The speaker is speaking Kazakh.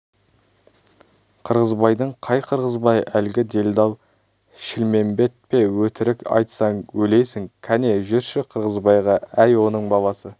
қырғызбайдың қай қырғызбай әлгі делдал шілмембет пе өтірік айтсаң өлесің кәне жүрші қырғызбайға әй оның баласы